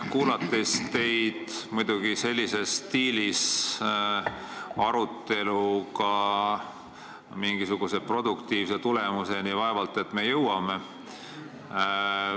Kuulates teid, pean ütlema, et sellises stiilis aruteluga me mingisuguse produktiivse tulemuseni vaevalt jõuame.